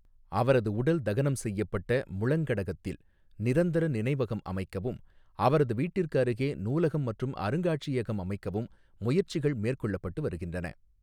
அவரது உடல் தகனம் செய்யப்பட்ட முளங்கடகத்தில் நிரந்தர நினைவகம் அமைக்கவும், அவரது வீட்டிற்கு அருகே நூலகம் மற்றும் அருங்காட்சியகம் அமைக்கவும் முயற்சிகள் மேற்கொள்ளப்பட்டு வருகின்றன.